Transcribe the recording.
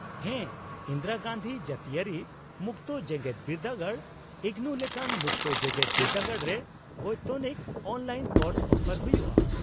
-ᱦᱮᱸ, ᱤᱱᱫᱤᱨᱟ ᱜᱟᱱᱫᱷᱤ ᱡᱟᱹᱛᱤᱭᱟᱹᱨᱤ ᱢᱩᱠᱛᱚ ᱡᱮᱜᱮᱫ ᱵᱤᱨᱫᱟᱹᱜᱟᱲ , ᱤᱜᱱᱩ ᱞᱮᱠᱟᱱ ᱢᱩᱠᱛᱚ ᱡᱮᱜᱮᱫ ᱵᱤᱨᱫᱟᱹᱜᱟᱲ ᱨᱮ ᱵᱚᱭᱛᱚᱱᱤᱠ ᱚᱱᱞᱟᱭᱤᱱ ᱠᱳᱨᱥ ᱚᱯᱷᱟᱨ ᱦᱩᱭᱩᱜᱼᱟ ᱾